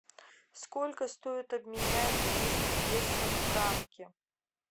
сколько стоит обменять двести песо в франки